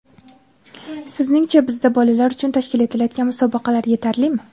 Sizningcha, bizda bolalar uchun tashkil etilayotgan musobaqalar yetarlimi?